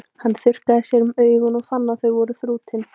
Hann þurrkaði sér um augun og fann að þau voru þrútin.